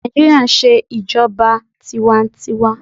Naijiria n ṣe ijọba tiwantiwaa